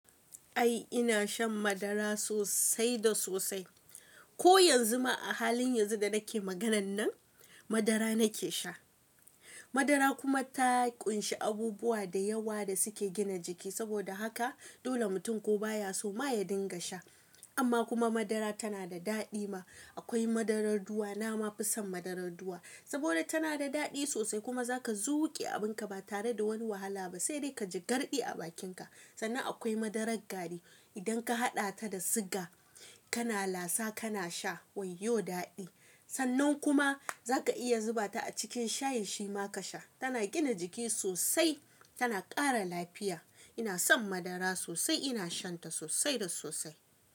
Ai ina shan madara sosai da sosai. Ko yanzu ma a halin yanzu da nake maganan nan madara nake sha. Madara kuma ta ƙunshi abubuwa da yawa da suke gina jiki saboda haka dole mutum ko ba ya so ma ya dinga sha. Amma kuma madara tana da daɗi ma. Akwai madarar ruwa, na ma fison madarar ruwa saboda tana da daɗi sosai kuma zaka zuƙe abinka ba tare da wani wahala ba, sai dai ka ji garɗi a bakinka. Sannan akwai madarar gari. Idan ka haɗa ta da siga kana lasa kana sha wayyo daɗi. Sannan kuma zaka iya zuba ta a cikin shayi shi ma ka sha. Tana gina jiki sosai, tana ƙara lafiya. Ina son madara sosai, ina shan ta sosai da sosai.